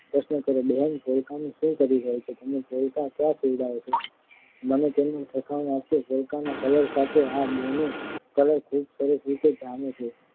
પ્રશ્ન કર્યો બહેન પોલકાનું શું કરી રહ્યાં છો તમે પોલકાં ક્યાં સીવડાવો છો મને તેનું ઠેકાણું આપશો પોલકાના કલર સાથે આ બોનો કલર ખૂબ સરસ રીતે જામે છે